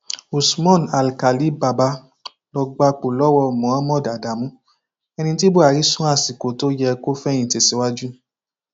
usman alkálì bàbá ló gbapò lọwọ mohammed adamu ẹni tí buhari sún àsìkò tó yẹ kó fẹyìntì síwájú